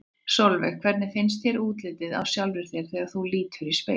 Sólveig: Hvernig finnst þér útlitið á sjálfri þér þegar þú lítur í spegil?